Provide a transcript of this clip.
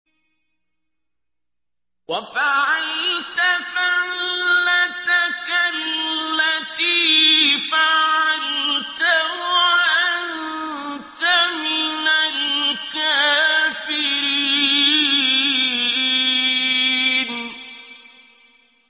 وَفَعَلْتَ فَعْلَتَكَ الَّتِي فَعَلْتَ وَأَنتَ مِنَ الْكَافِرِينَ